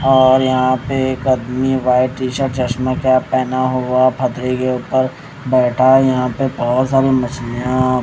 और यहां पे एक अदमी वाइट टी शर्ट चश्मा कैप पहना हुआ फतरी के ऊपर बैठा है यहां पे बहोत सारी मछलियां--